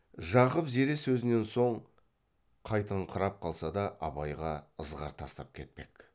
жақып зере сөзінен соң қайтыңқырап қалса да абайға ызғар тастап кетпек